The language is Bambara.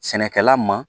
Sɛnɛkɛla ma